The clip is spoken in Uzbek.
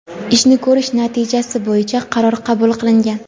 ishni ko‘rish natijasi bo‘yicha qaror qabul qilgan.